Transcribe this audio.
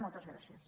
moltes gràcies